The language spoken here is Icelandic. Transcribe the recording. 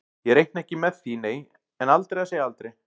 Ég reikna ekki með því nei, en aldrei að segja aldrei.